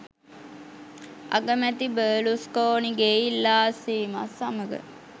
අගමැති බර්ලූස්කෝනීගේ ඉල්ලා අස්වීමත් සමඟ